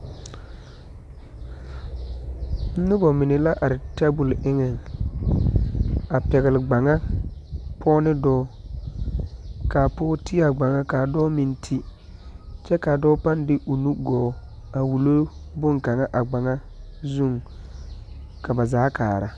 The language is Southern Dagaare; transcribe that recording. Noba mine la are tɛbol eŋɛ a pɛgle gbaŋa pɔge ne dɔɔ ka pɔge ti a gbaŋɣa ka dɔɔ meŋ ti kyɛ ka a dɔɔ pãã de o nu gɔɔ a wuli boŋkaŋa a gbaŋa zuŋ ka ba zaa kaara.